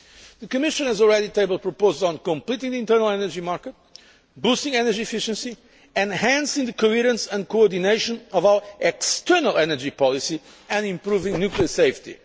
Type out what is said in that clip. The Commission has already tabled proposals on completing the internal energy market, boosting energy efficiency, enhancing the coherence and coordination of our external energy policy and improving nuclear safety.